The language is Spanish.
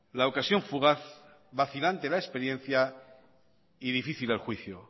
la ocasión fugaz vacilante la experiencia y difícil el juicio